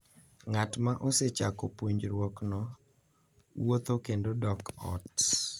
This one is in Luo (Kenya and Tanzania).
Ng’at ma osechako puonjruokno wuotho ​​kendo dok ot,